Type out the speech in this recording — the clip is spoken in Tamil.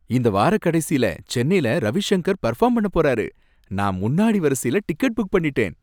இந்த வாரக்கடைசில சென்னைல ரவிஷங்கர் பெர்ஃபார்ம் பண்ண போறாரு. நான் முன்னாடி வரிசைல டிக்கெட் புக் பண்ணிட்டேன்.